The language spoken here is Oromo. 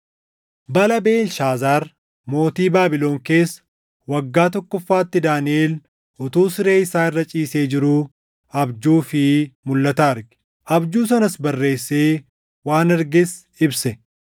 Bara Beelshaazaar mootii Baabilon keessa waggaa tokkoffaatti Daaniʼel utuu siree isaa irra ciisee jiruu abjuu fi mulʼata arge. Abjuu sanas barreessee waan arges ibse.